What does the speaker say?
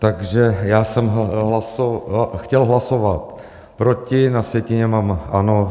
Takže já jsem chtěl hlasovat proti, na sjetině mám ano.